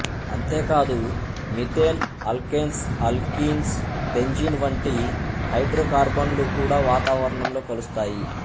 అంతేకాదు methane alkanes alkynes benzene వంటి హైడ్రోకార్బనులు కుడా వాతావరణంలో కలుస్తాయి